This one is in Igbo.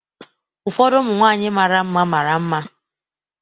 Ụfọdụ ụmụ nwanyị mara mma mara mma.